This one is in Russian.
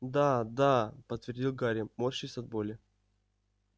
да да подтвердил гарри морщась от боли